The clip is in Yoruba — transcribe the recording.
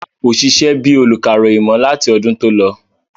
Rárá, kò sisẹ́ bíi olùkàròyìn mọ́ láti ọdún tó lọ